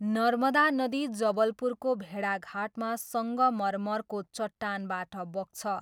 नर्मदा नदी जबलपुरको भेडाघाटमा सङ्गमरमरको चट्टानबाट बग्छ।